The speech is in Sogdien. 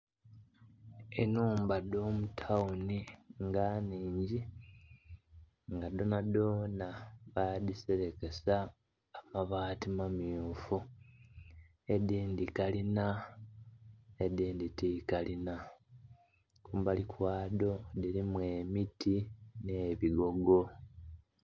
Enhumba dho mutawuni nga nnhingi nga dhonadhona badhiserekesa amabati mamyufu, edindhi kalinha edindhi ti kalinha, kumbali kwadho dhirimu emiti nh'ebigogo.